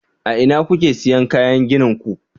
a ina kuke siyan kayan ginin ku